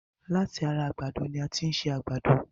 Láti ara àgbàdo ni a tin ṣe àgbàdo